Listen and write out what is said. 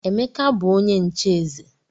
Emeka bu onye nche eze.